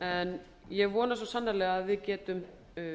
en ég vona svo sannarlega að við getum